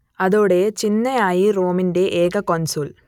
അതോടേ ചിന്നയായി റോമിന്റെ ഏക കോൺസുൾ